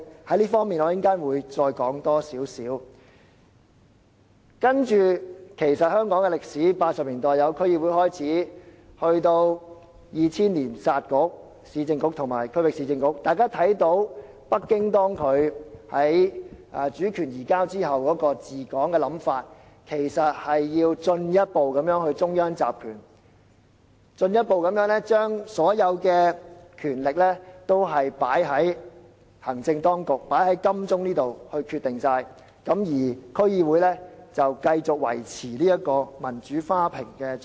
事實上，從香港的歷史看，就是自1980年代成立區議會至2000年"殺局"——解散市政局和區域市政局，大家可見北京在主權移交後的治港理念，就是要進一步中央集權，進一步將所有決定權力集中在行政當局——集中在金鐘這地方，而區議會則繼續維持"民主花瓶"的角色。